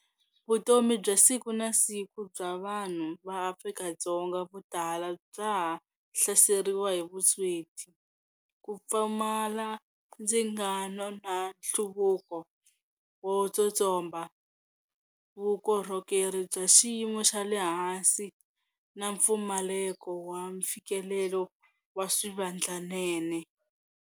Vutomi bya siku na siku bya vanhu va Afrika-Dzonga vo tala bya ha hlaseriwa hi vusweti, ku pfumala ndzingano na nhluvuko wo tsotsomba, vukorhokeri bya xiyimo xa le hansi na mpfumaleko wa mfikelelo wa swivandlanene.